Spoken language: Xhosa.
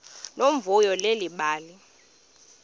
nomvuyo leli bali